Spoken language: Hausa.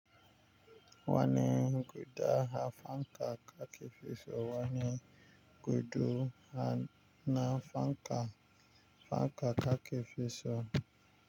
Wani guda ha fanka kakifi so wani gudu na fanka fanka kakifi so.